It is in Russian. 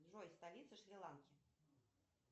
джой столица шри ланки